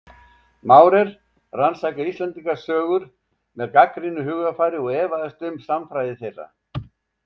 Maurer rannsakaði Íslendingasögur með gagnrýnu hugarfari og efaðist um sannfræði þeirra.